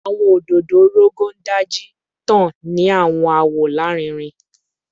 Awọn ododo Rogon Daji tan ni awọn awọ larinrin